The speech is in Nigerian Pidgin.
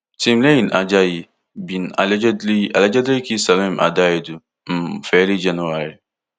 timileyin ajayi bin allegedly allegedly kill salome adaidu um for early january